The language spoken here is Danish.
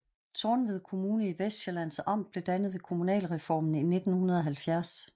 Tornved Kommune i Vestsjællands Amt blev dannet ved kommunalreformen i 1970